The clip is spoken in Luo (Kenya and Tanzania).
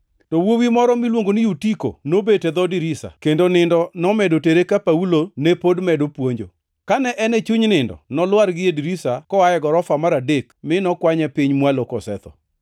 To wuowi moro miluongo ni Yutiko nobet e dho dirisa, kendo nindo nomedo tere ka Paulo ne pod medo puonjo. Kane en e chuny nindo, nolwar gie dirisa koa e gorofa mar adek mi nokwanye piny mwalo kosetho.